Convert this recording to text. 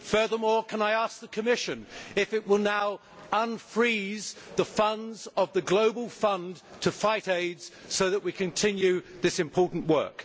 Furthermore, can I ask the Commission if it will now unfreeze the funds of the global fund to fight AIDS so that we can continue this important work?